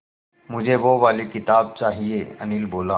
मुझे वो वाली किताब चाहिए अनिल बोला